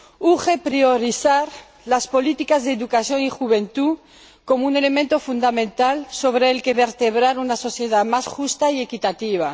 Urge priorizar las políticas de educación y juventud como un elemento fundamental sobre el que vertebrar una sociedad más justa y equitativa